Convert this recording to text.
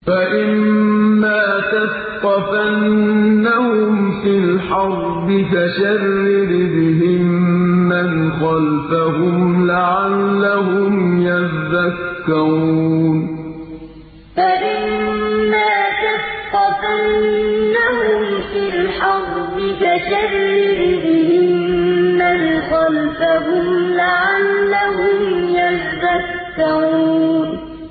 فَإِمَّا تَثْقَفَنَّهُمْ فِي الْحَرْبِ فَشَرِّدْ بِهِم مَّنْ خَلْفَهُمْ لَعَلَّهُمْ يَذَّكَّرُونَ فَإِمَّا تَثْقَفَنَّهُمْ فِي الْحَرْبِ فَشَرِّدْ بِهِم مَّنْ خَلْفَهُمْ لَعَلَّهُمْ يَذَّكَّرُونَ